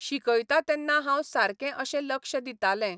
शिकयता तेन्ना हांव सारकें अशें लक्ष दितालें.